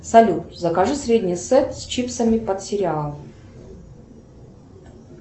салют закажи средний сет с чипсами под сериал